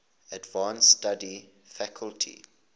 advanced study faculty